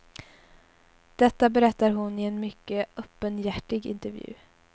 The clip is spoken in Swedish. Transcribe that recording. Detta berättar hon i en mycket öppenhjärtig intervju.